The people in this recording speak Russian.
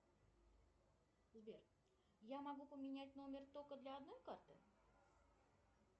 сбер я могу поменять номер только для одной карты